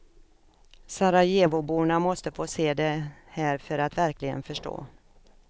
Sarajevoborna måste få se det här för att verkligen förstå.